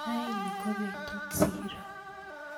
raini ko betutab siiro